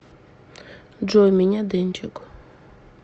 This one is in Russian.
джой меня дэнчик